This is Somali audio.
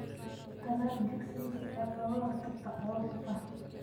Tallaal chicks si aad uga hortagto caabuqa.